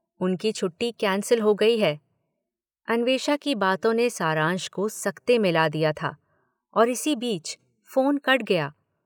उनकी छुट्टी कैंसल हो गई है -' अन्वेषा की बातों ने सारांश को सकते में ला दिया था और इसी बीच फोन कट गया।